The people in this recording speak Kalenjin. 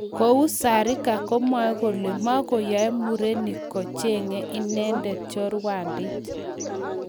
Kou Zarika komwoei kole mogonyei murenik koche'nge inendet choruondit